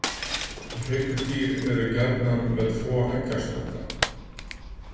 Hryggdýr eru gjarnan með tvo eggjastokka.